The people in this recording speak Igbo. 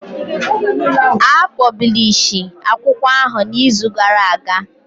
A pọblishi akwụkwọ ahụ na izu gara aga